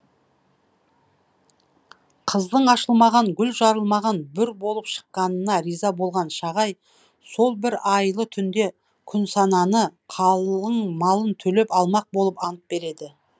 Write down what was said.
қыздың ашылмаған гүл жарылмаған бүр болып шыққанына риза болған шағай сол бір айлы түнде күнсананы қалың малын төлеп алмақ болып ант береді